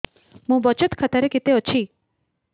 ମୋ ବଚତ ଖାତା ରେ କେତେ ଅଛି